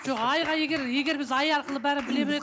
жоқ айға егер егер біз ай арқылы бәрін біле